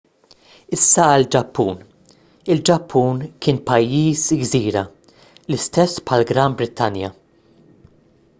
issa għall-ġappun il-ġappun kien pajjiż gżira l-istess bħall-gran brittanja